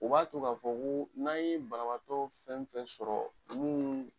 U b'a to k'a fɔ ko n'an ye banabagatɔ fɛn fɛn sɔrɔ munnu